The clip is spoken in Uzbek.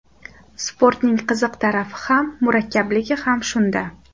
Sportning qiziq tarafi ham, murakkabligi ham shunda.